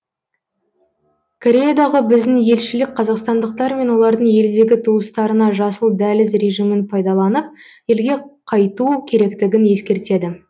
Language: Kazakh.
кореядағы біздің елшілік қазақстандықтар мен олардың елдегі туыстарына жасыл дәліз режимін пайдаланып елге қайту керектігін ескертеді